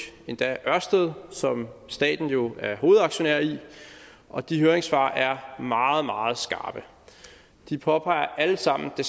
endda ørsted som staten jo er hovedaktionær i og de høringssvar er meget meget skarpe de påpeger alle sammen det